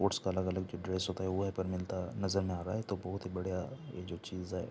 Ports का अलग-अलग जो ड्रेस होता है वो यहाॅं पर मिलता नज़र में आ रहा है तो बोत ही बढ़िया ये जो चीज़ है।